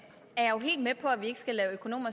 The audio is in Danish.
økonomer